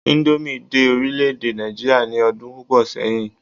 indomie dé orilẹ ede Naijiria ni odun púpò sẹyìn